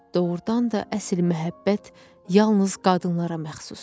Doğrudan da əsl məhəbbət yalnız qadınlara məxsusdur.